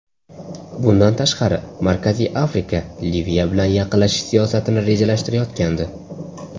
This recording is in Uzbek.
Bundan tashqari, Markaziy Afrika Liviya bilan yaqinlashish siyosatini rejalashtirayotgandi.